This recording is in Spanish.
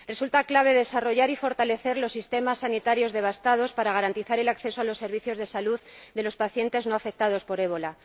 Resulta clave desarrollar y fortalecer los sistemas sanitarios devastados para garantizar el acceso a los servicios de salud de los pacientes no afectados por el ébola.